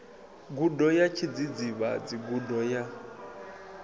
gudo ya tshidzidzivhadzi gudo ya